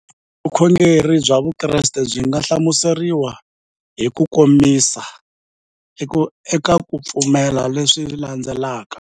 Vukhongeri bya Vukreste byi nga hlamuseriwa hi kukomisa eka ku pfumela leswi landzelaka.